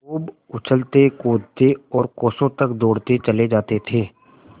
खूब उछलतेकूदते और कोसों तक दौड़ते चले जाते थे